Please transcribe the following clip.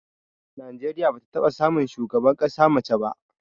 Najeriya bata taɓa samun shugaban ƙasa ta mace ba